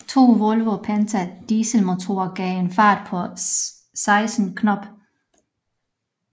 To Volvo Penta dieselmotorer gav en fart på 16 knob